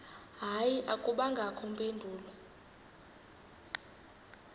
hayi akubangakho mpendulo